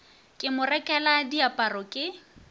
ke mo rekela diaparo ke